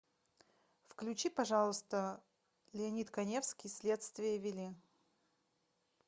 включи пожалуйста леонид каневский следствие вели